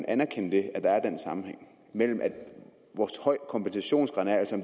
anerkende at der er den sammenhæng mellem hvor høj kompensationsgraden er altså